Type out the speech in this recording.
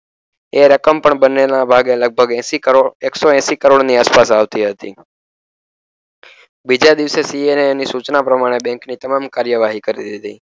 એ રકમ પણ બંનેના ભાગે લગભગ એંશી કરોડ એકસો એંશી કરોડ ની આસપાસ આવતી હતી બીજા દિવસે CA એની સૂચના પ્રમાણે બેન્કની તમામ કાર્યવાહી કરી દીધી